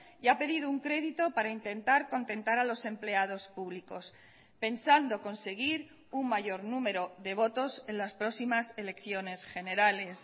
y ha pedido un crédito para intentar contentar a los empleados públicos pensando conseguir un mayor número de botos en las próximas elecciones generales